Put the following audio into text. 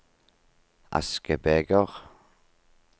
askebeger